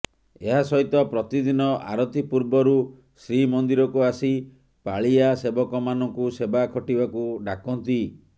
ଏହାସହିତ ପ୍ରତିଦିନ ଆରତି ପୂର୍ବରୁ ଶ୍ରୀମନ୍ଦିରକୁ ଆସି ପାଳିଆ ସେବକମାନଙ୍କୁ ସେବା ଖଟିବାକୁ ଡାକନ୍ତି